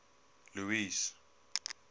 louis